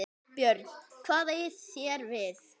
BJÖRN: Hvað eigið þér við?